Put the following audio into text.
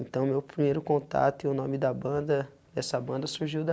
Então o meu primeiro contato e o nome da banda, dessa banda surgiu